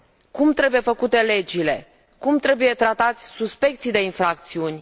Cum trebuie făcute legile? Cum trebuie tratați suspecții de infracțiuni?